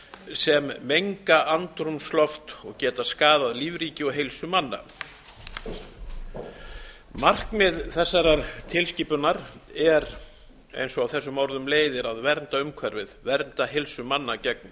sem menga andrúmsloft og geta skaðað lífríki og heilsu manna markmið þessarar tilskipunar er eins og af þessum orðum leiðir að vernda umhverfið vernda heilsu manna gegn